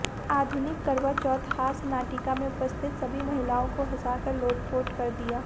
आधुनिक करवा चौथ हास्य नाटिका ने उपस्थित सभी महिलाओं को हंसा कर लोटपोट कर दिया